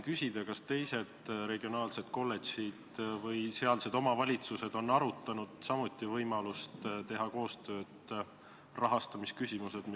Kas teised regionaalsed kolledžid ja omavalitsused on samuti arutanud võimalust rahastamisküsimuses koostööd teha?